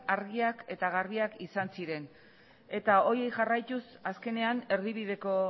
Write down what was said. argiak eta garbiak izan ziren eta horiek jarraituz azkenean erdibideko